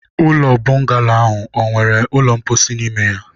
ụlọ bọngalo a ọ nwere ụlọ mposi n'ime ya?